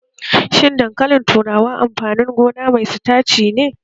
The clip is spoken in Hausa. Shin dankalin turawa amfanin gona mai sitaci ne?